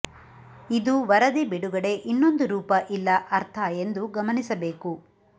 ಇದು ವರದಿ ಬಿಡುಗಡೆ ಇನ್ನೊಂದು ರೂಪ ಇಲ್ಲ ಅರ್ಥ ಎಂದು ಗಮನಿಸಬೇಕು